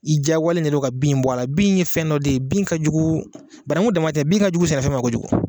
I diyagoyalen de don ka bin in bɔ la, bin ye fɛn dɔ de ye , bin ka jugu banankun dama tɛ, bin ka jugu sɛnɛfɛn ma kojugu.